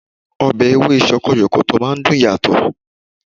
Ọbẹ̀ Ewé sọkọyọ̀kọ̀tọ̀ máa ń dùn yàtọ̀